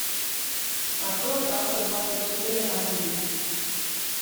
открой авто двадцать четыре на тв